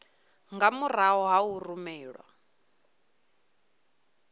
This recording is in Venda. nga murahu ha u rumelwa